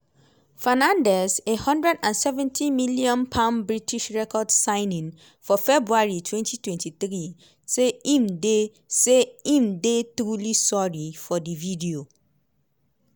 fernandez a hundred and seventy million british record signing for february twenty twenty three say im dey say im dey "truly sorry" for di video